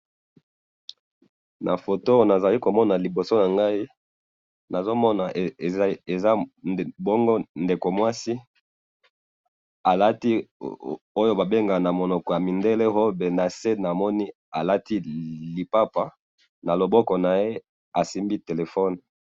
nafoto oyo nazali komona liboso nangayi nazomona eza bongo ndeko mwana mwasi alati oyo ba bengaka na munoko ya mundele robe nase alati lipapa na maboko asimbi telephone.